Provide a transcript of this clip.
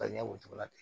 Ka ɲɛ o cogo la ten